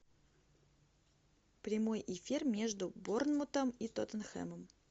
прямой эфир между борнмутом и тоттенхэмом